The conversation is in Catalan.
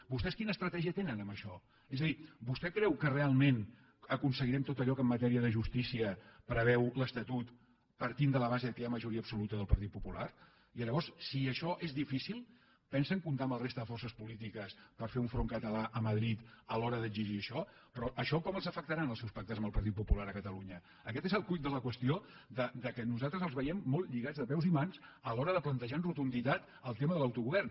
vostès quina estratègia tenen en això és a dir vostè creu que realment aconseguirem tot allò que en matèria de justícia preveu l’estatut partint de la base que hi ha majoria absoluta del partit popular i llavors si això és difícil pensen comptar amb la resta de forces polítiques per fer un front català a madrid a l’hora d’exigir això però això com els afectarà en els seus pactes amb el partit popular a catalunya aquest és el quid de la qüestió que nosaltres els veiem molt lligats de peus i mans a l’hora de plantejar amb rotunditat el tema de l’autogovern